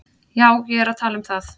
Já, ég er að tala um það.